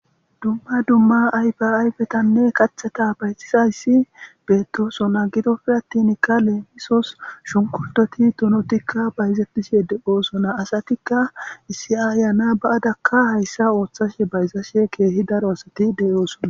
dumma dumma ayfe ayfetanne qatheta bayxizayssi beettosona gidofir attinkale misos shunkurtoti tonotikka bayzettishe de7oosona asatikka issi aayana ba7adakka hayssa ooththashe bayzashe keehi daro asati de7oosona